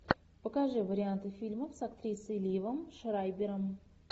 покажи варианты фильмов с актрисой ливом шрайбером